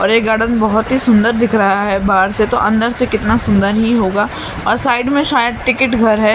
और ये गार्डन बहुत ही सुंदर दिख रहा है बाहर से तो अंदर से कितना सुंदर ही होगा और साइड में शायद टिकट घर है।